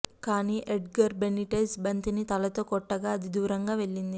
కానీ Edgar Benitez బంతిని తలతో కొట్టగా అది దూరంగా వెళ్లింది